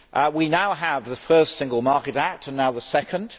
We now have the first Single Market Act, and the second.